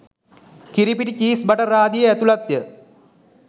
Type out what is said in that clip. කිරිපිටි cheese butter ආදියේ ඇතුළත්ය